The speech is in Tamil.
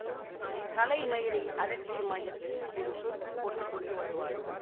தலை மயிரை அலட்சியமாய் எடுத்து ஒரு சொருக்குப் போட்டு கொண்டு வருவாள்